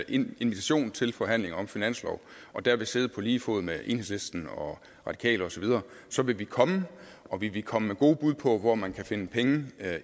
en invitation til forhandlinger om finansloven og der vil sidde på lige fod med enhedslisten og radikale osv så vil vi komme og vi vil komme med gode bud på hvor man kan finde penge